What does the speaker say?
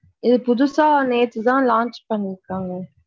இது புதுசா நேத்து தான் launch பண்ணீருக்காங்க.